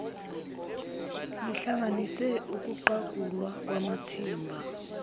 lihlanganise ukuqagulwa kwamathimba